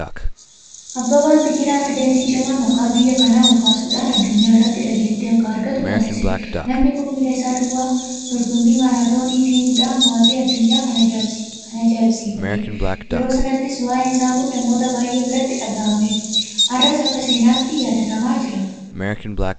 Abbabaan Biqilaa Atileetii cimaa maqaa biyya kanaa olkaasuudhaan addunyaa irratti dhageettii akka argattu taasisedha. Namni kun miila isaa duwwaa dorgommii maaraatoonii fiiguudhaan mo'atee addunyaan kan ajaa'ibsiifatedha. Yeroo sanatti waa'een isaa kun namoota baay'ee biratti dhagahamee ture. Har'as akka seenaatti yaadatamaa jiraata.